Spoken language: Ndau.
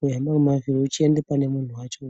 weihamba ngemavhiri uchienda pane munhu wacho.